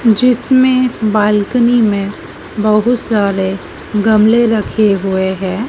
जिसमें बालकनी में बहुत सारे गमले रखे हुए हैं।